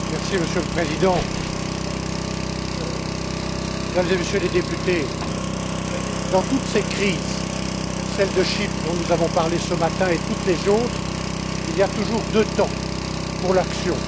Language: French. Monsieur le Président, Mesdames et Messieurs les députés, dans toutes ces crises, celle de Chypre dont nous avons parlé ce matin, et toutes les autres, il y a toujours deux temps pour l'action.